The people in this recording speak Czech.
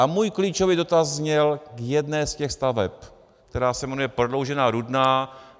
A můj klíčový dotaz zněl k jedné z těch staveb, která se jmenuje Prodloužená Rudná.